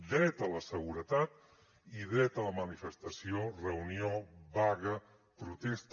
dret a la seguretat i dret a la manifestació reunió vaga protesta